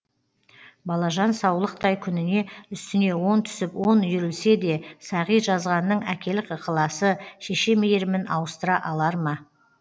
балажан саулықтай күніне үстіне он түсіп он үйірілсе де сағи жазғанның әкелік ықыласы шеше мейірімін ауыстыра алар ма